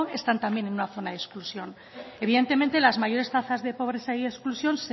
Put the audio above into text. están también en una zona de exclusión evidentemente las mayores tasas de pobreza y exclusión